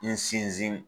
N sinsin